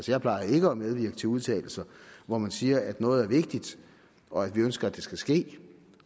jeg plejer ikke at medvirke til udtalelser hvor man siger at noget er vigtigt og at vi ønsker at det skal ske